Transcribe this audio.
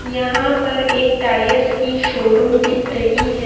यहां पर एक टायर्स की शोरूम दिख रही है।